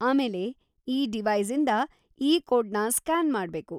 ಆಮೇಲೆ, ಈ ಡಿವೈಸ್‌ಇಂದ ಈ ಕೋಡ್ನ ಸ್ಕ್ಯಾನ್‌ ಮಾಡ್ಬೇಕು.